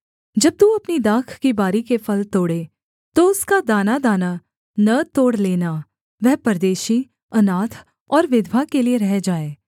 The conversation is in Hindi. जब तू अपनी दाख की बारी के फल तोड़े तो उसका दानादाना न तोड़ लेना वह परदेशी अनाथ और विधवा के लिये रह जाए